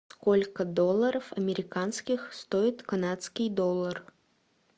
сколько долларов американских стоит канадский доллар